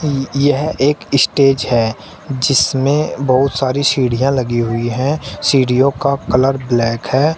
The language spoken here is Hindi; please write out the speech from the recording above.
यह एक स्टेज है जिसमें बहुत सारी सीढ़ियां लगी हुई हैं सीढ़ियों का कलर ब्लैक है।